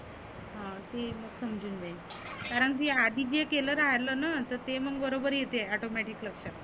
हं ते मग समजुन जाईन कारण आधी जे केलं राहल ना तर ते मग बरोबर येते Automatic लक्षात.